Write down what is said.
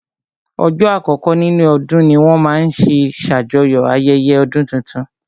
Ọjọ́ àkọkọ́ nínú ọdún ní wọ́n máa n ṣe ṣàjọyọ̀ ayẹyẹ ọdún tuntun